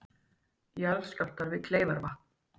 Jarðskjálftar við Kleifarvatn